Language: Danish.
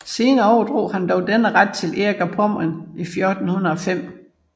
Senere overdrog han dog denne ret til Erik af Pommern i 1405